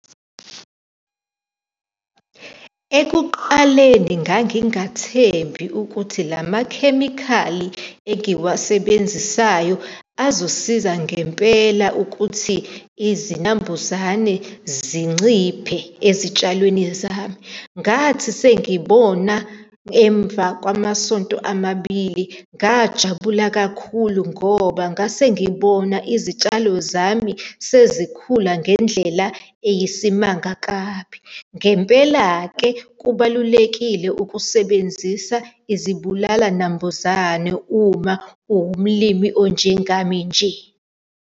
Ekuqaleni ngangingathembi ukuthi la makhemikhali engiwasebenzisayo azosiza ngempela ukuthi izinambuzane zinciphe ezitshalweni zami. Ngathi sengibona emva kwamasonto amabili, ngajabula kakhulu ngoba ngase ngibona izitshalo zami mina sezikhula ngendlela eyisimanga kabi. Ngempela-ke, kubalulekile ukusebenzisa izibulalanambuzane uma uwumlimi onjengami nje.